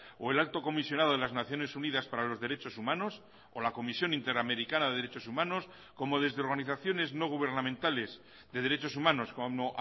o el alto comisionado de las naciones unidas para los derechos humanos o la comisión interamericana de derechos humanos como desde organizaciones no gubernamentales de derechos humanos como